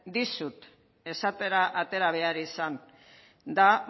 dizut esatera atera behar izan da